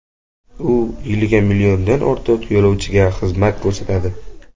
U yiliga milliondan ortiq yo‘lovchiga xizmat ko‘rsatadi.